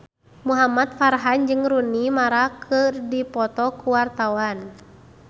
Muhamad Farhan jeung Rooney Mara keur dipoto ku wartawan